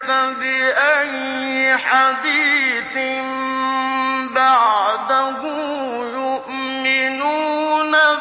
فَبِأَيِّ حَدِيثٍ بَعْدَهُ يُؤْمِنُونَ